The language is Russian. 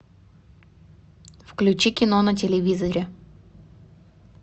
включи кино на телевизоре